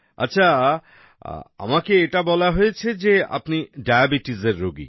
আচ্ছা আমাকে এটা বলা হয়েছে যে আপনি ডায়াবেটিসের রোগী